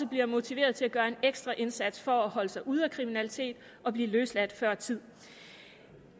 bliver motiveret til at gøre en ekstra indsats for at holde sig ude af kriminalitet og blive løsladt før tid